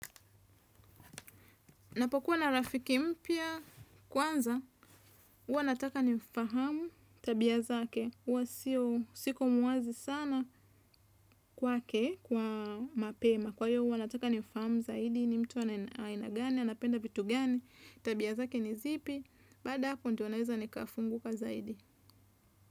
Napokuwa na rafiki mpia kwanza, uwa nataka nimfahamu tabia zake, uwa siko muwazi sana kwake, kwa mapema. Kwa hiyo uwa nataka nimfahamu zaidi ni mtu anaina gani, anapenda vitu gani, tabia zake ni zipi, bada ako ndio neza nikafunguka zaidi.